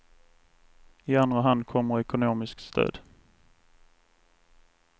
I andra hand kommer ekonomiskt stöd.